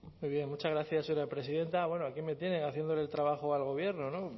zurea da hitza muy bien muchas gracias señora presidenta bueno aquí me tienen haciéndole el trabajo al gobierno